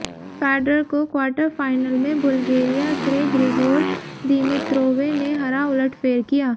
Federer को quarter final में Bulgaria के ग्रिगोर दिमित्रोवे ने हरा उलटफेर किया